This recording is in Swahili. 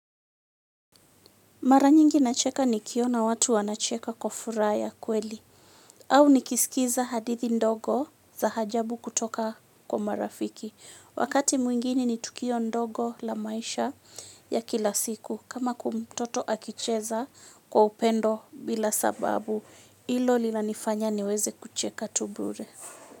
Maranyingi nacheka nikiona watu wanacheka kwa furaha ya kweli. Au nikisikiza hadithi ndogo za ajabu kutoka kwa marafiki. Wakati mwingine nitukio ndogo la maisha ya kilasiku. Kama kwa mtoto akicheza kwa upendo bila sababu hilo linanifanya niweze kucheka tu bure.